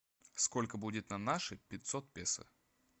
сколько будет на наши пятьсот песо